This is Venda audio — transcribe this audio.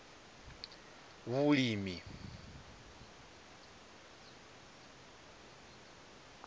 vhulimi